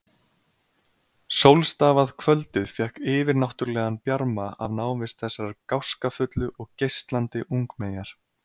Sólstafað kvöldið fékk yfirnáttúrlegan bjarma af návist þessarar gáskafullu og geislandi ungmeyjar.